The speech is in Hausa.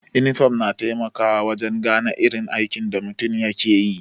inifom na taimakawa wajen gane irin aikin da mutum yake yi.